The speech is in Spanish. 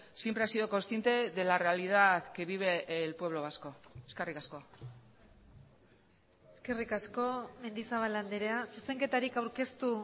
siempre ha sido consciente de la realidad que vive el pueblo vasco eskerrik asko eskerrik asko mendizabal andrea zuzenketarik aurkeztu